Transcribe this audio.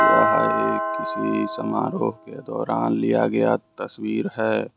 चाहे किसी समारोह के दौरान लिया गया तस्वीर है।